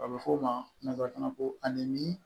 A bɛ fɔ o ma nanzara kanna ko ani